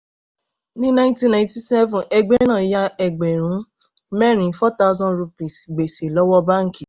ní nineteen ninety-seven ẹgbẹ́ náà yá ẹgbẹ̀rún mẹ́rin four thousand rupees gbèsè lọ́wọ́ báńkì.